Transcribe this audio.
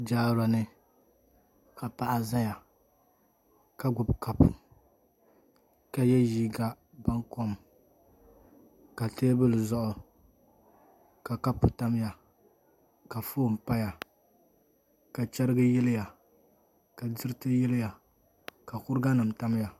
Jaara ni ka paɣa ʒɛya ka gbubi kapu ka yɛ liiga baŋkom ka teebuli zuɣu ka kapu tamya ka foon paya ka chɛrigi yiliya ka diriti yiliya ka kuriga nim tamya